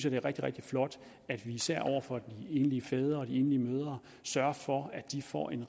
at det er rigtig rigtig flot at vi især over for de enlige fædre og de enlige mødre sørger for at de får en